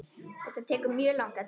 Þetta tekur mjög langan tíma.